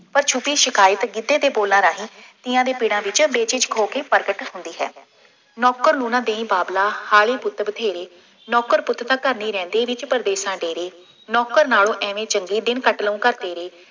ਪਰ ਛੁਪੀ ਸ਼ਿਕਾਇਤ ਗਿੱਧੇ ਦੇ ਬੋਲਾਂ ਰਾਹੀਂ ਤੀਆਂ ਦੇ ਪਿੜਾਂ ਵਿੱਚ ਬੇਝਿੱਜਕ ਹੋ ਕੇ ਪ੍ਰਗਟ ਹੁੰਦੀ ਹੈ। ਨੌਕਰ ਨੂੰ ਨਾ ਦੇਈਂ ਬਾਬਲਾ ਹਾਲੇ ਪੁੱਤ ਬਥੇਰੇ, ਨੌਕਰ ਪੁੱਤ ਤਾਂ ਘਰ ਨਹੀਂ ਰਹਿੰਦੇ, ਵਿੱਚ ਪ੍ਰਦੇਸ਼ਾਂ ਡੇਰੇ, ਨੌਕਰ ਨਾਲੋਂ ਐਵੇਂ ਚੰਗੇ ਦਿਨ ਕੱਟ ਲੂੰ ਘਰ ਤੇਰੇ।